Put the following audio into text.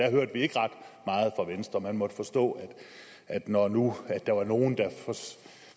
der hørte vi ikke ret meget fra venstre man måtte forstå at når nu der var nogle der